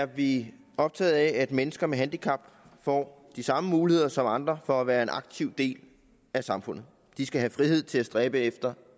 er vi optaget af at mennesker med handicap får de samme muligheder som andre for at være en aktiv del af samfundet de skal have frihed til at stræbe efter